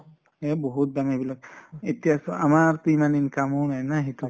এহ বহুত দাম এইবিলাক এতিয়া চোৱা আমাৰ ইমান income ও নাই ন সেইটো